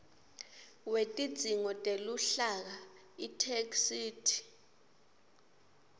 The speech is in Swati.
wetidzingo teluhlaka itheksthi